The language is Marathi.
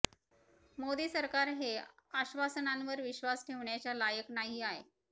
मोदी सरकार हे आश्वासनांवर विश्वास ठेवण्याच्या लायक नाही आहे